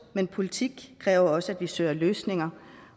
men politik kræver også at vi søger løsninger